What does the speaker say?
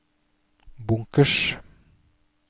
bunkers